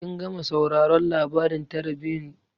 Kin gama sauraron labarin tarihin jarumai?